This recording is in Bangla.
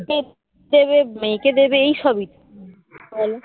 দেবে মেয়েকে দেবে এই সবই তো বলো